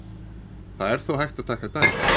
Það er þó hægt að taka dæmi.